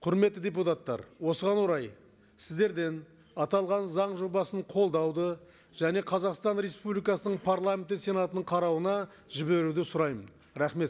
құрметті депутаттар осыған орай сіздерден аталған заң жобасын қолдауды және қазақстан республикасының парламенті сенатының қарауына жіберуді сұраймын рахмет